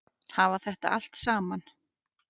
Hafa þetta allt saman?